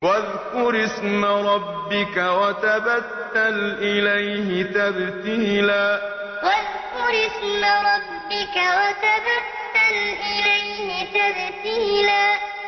وَاذْكُرِ اسْمَ رَبِّكَ وَتَبَتَّلْ إِلَيْهِ تَبْتِيلًا وَاذْكُرِ اسْمَ رَبِّكَ وَتَبَتَّلْ إِلَيْهِ تَبْتِيلًا